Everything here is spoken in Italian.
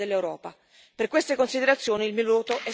Per queste considerazioni, il mio voto è stato negativo.